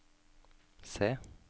se